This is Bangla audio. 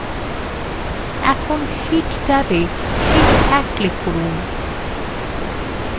এখন sheet ট্যাবএ sheet 1 এ click করুন